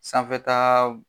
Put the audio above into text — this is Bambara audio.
Sanfɛtaa b